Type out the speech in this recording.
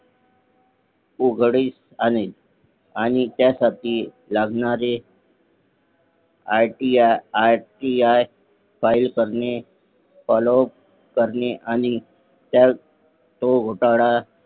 उघडीस आणेल आणि त्यासाठी लागणारे RTR फाईल करणे Followup करणे आणि तो घोटाळा